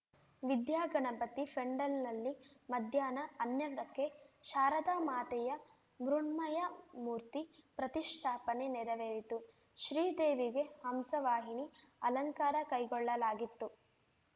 ವಿದ್ಯಾಗಣಪತಿ ಫೆಂಡಲ್‌ನಲ್ಲಿ ಮಧ್ಯಾಹ್ನ ಹನ್ನೆರ್ಡಕ್ಕೆ ಶಾರದಾ ಮಾತೆಯ ಮೃಣ್ಮಯ ಮೂರ್ತಿ ಪ್ರತಿಷ್ಠಾಪನೆ ನೆರವೇರಿತು ಶ್ರೀದೇವಿಗೆ ಹಂಸವಾಹಿನಿ ಅಲಂಕಾರ ಕೈಗೊಳ್ಳಲಾಗಿತ್ತು